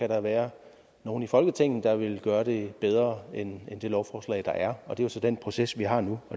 der være nogle i folketinget der vil gøre det bedre end det lovforslag der er og det er så den proces vi har nu